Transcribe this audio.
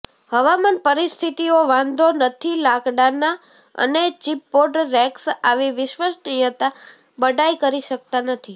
હવામાન પરિસ્થિતિઓ વાંધો નથી લાકડાના અને ચિપબોર્ડ રેક્સ આવી વિશ્વસનીયતા બડાઈ કરી શકતા નથી